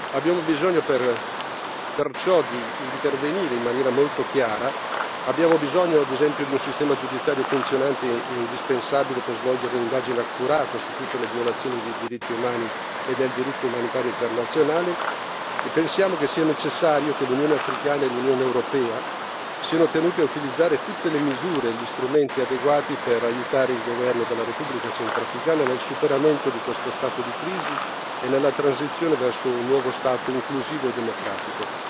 Abbiamo bisogno perciò di intervenire in maniera molto chiara, abbiamo bisogno ad esempio di un sistema giudiziario funzionante e indispensabile per svolgere un'indagine accurata su tutte le violazioni dei diritti umani e del diritto umanitario internazionale e pensiamo che sia necessario che l'Unione africana e l'Unione europea siano tenute a utilizzare tutte le misure e gli strumenti adeguati per aiutare il governo della Repubblica centrafricana nel superamento di questo stato di crisi e nella transizione verso un nuovo Stato inclusivo e democratico.